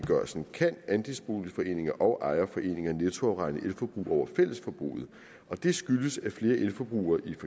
kan andelsboligforeninger og ejerforeninger nettoafregne elforbrug over fællesforbruget og det skyldes at flere elforbrugere i